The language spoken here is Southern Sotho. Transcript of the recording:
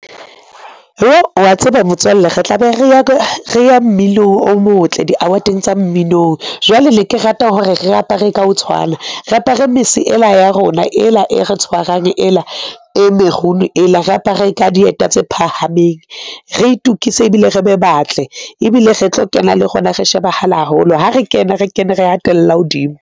Jo, wa tseba motswalle, re tlabe re ya mmino o motle. Di-award-eng tsa mminong, jwale ne ke rata hore re apare ka ho tshwana, re apare mese ela ya rona ela e re tshwarang ela e merron ela, re apare ka dieta tse phahameng, re itukise ebile re be batle ebile re tlo kena le rona re shebahala holo ha re kena, re kene, re atella hodimo.